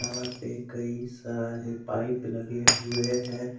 यहां पे कई सारे पाइप लगे हुए हैं।